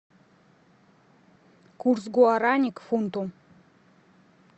курс гуарани к фунту